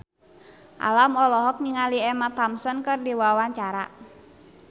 Alam olohok ningali Emma Thompson keur diwawancara